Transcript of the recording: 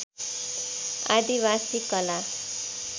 आदिवासी कला